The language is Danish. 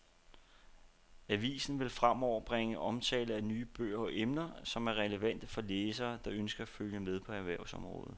Avisen vil fremover bringe omtale af nye bøger om emner, som er relevante for læsere, der ønsker at følge med på erhvervsområdet.